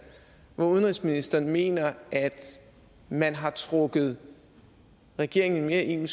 hvor udenrigsministeren mener at man har trukket regeringen i en